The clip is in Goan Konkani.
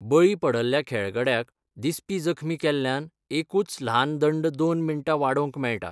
बळी पडल्ल्या खेळगड्याक दिसपी जखमी केल्ल्यान एकूच ल्हान दंड दोन मिनटां वाडोवंक मेळटा.